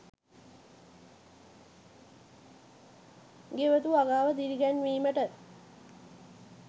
ගෙවතු වගාව දිරිගැන්වීමට